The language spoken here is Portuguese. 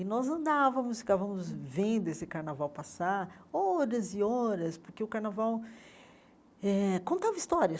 E nós andávamos, ficávamos vendo esse carnaval passar, horas e horas, porque o carnaval eh contava histórias.